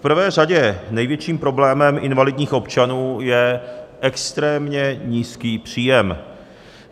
V prvé řadě největším problémem invalidních občanů je extrémně nízký příjem.